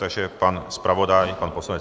Takže pan zpravodaj, pan poslanec .